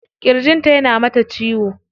Kirjin ta yana mata ciwo.